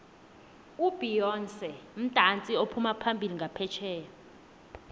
ubeyonce mudatsi ophumaphambili nqaphetjheya